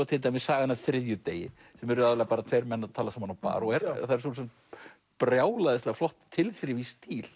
til dæmis sagan af þriðjudegi sem eru bara tveir menn að tala saman á bar og eru brjálæðislega flott tilþrif í stíl